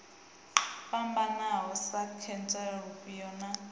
fhambanaho sa khentsa lufhia na